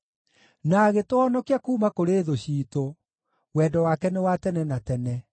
na agĩtũhonokia kuuma kũrĩ thũ ciitũ, Wendo wake nĩ wa tene na tene.